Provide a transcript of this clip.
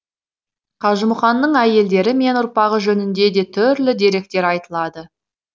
қажымұқанның әйелдері мен ұрпағы жөнінде де түрлі деректер айтылады